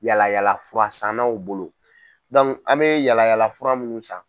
Yala yalafura sannaw bolo an bɛ yala yalafura minnu san.